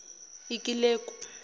ikileku